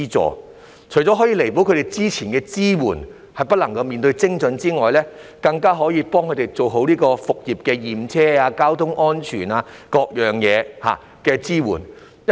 這除了可以彌補政府之前的支援不夠精準的問題之外，更可以幫助業界做好復業前的驗車、交通安全等各方面的支援工作。